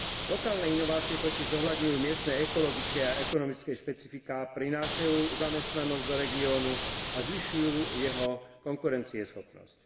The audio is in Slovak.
Lokálne inovácie totiž zohľadňujú miestne ekologické a ekonomické špecifiká, prinášajú zamestnanosť do regiónu a zvyšujú jeho konkurencieschopnosť.